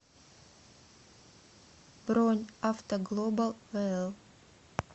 бронь автоглобал вл